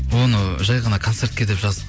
оны жай ғана концертке деп жаздық